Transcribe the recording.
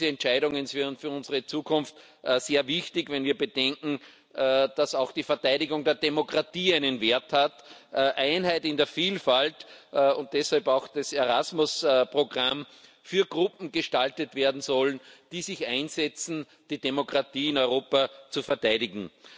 Diese Entscheidungen sind für unsere Zukunft sehr wichtig, wenn wir bedenken, dass auch die Verteidigung der Demokratie einen Wert hat Einheit in der Vielfalt und deshalb auch das Erasmus Programm für Gruppen gestaltet werden soll, die sich dafür einsetzen, die Demokratie in Europa zu verteidigen.